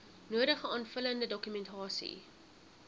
nodige aanvullende dokumentasie